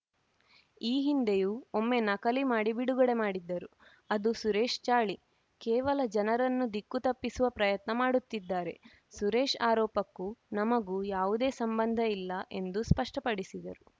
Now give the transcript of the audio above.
ಈ ಹಿಂದೆಯೂ ಒಮ್ಮೆ ನಕಲಿ ಮಾಡಿ ಬಿಡುಗಡೆ ಮಾಡಿದ್ದರು ಅದು ಸುರೇಶ್‌ ಚಾಳಿ ಕೇವಲ ಜನರನ್ನು ದಿಕ್ಕು ತಪ್ಪಿಸುವ ಪ್ರಯತ್ನ ಮಾಡುತ್ತಿದ್ದಾರೆ ಸುರೇಶ್‌ ಆರೋಪಕ್ಕೂ ನಮಗೂ ಯಾವುದೇ ಸಂಬಂಧ ಇಲ್ಲ ಎಂದು ಸ್ಪಷ್ಟಪಡಿಸಿದರು